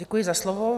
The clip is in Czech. Děkuji za slovo.